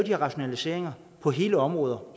her rationaliseringer på hele områder